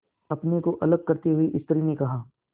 अपने को अलग करते हुए स्त्री ने कहा